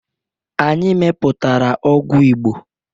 Anyị mepụtara ọgwụ Igbo